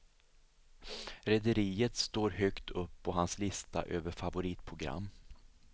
Rederiet står högt upp på hans lista över favoritprogram.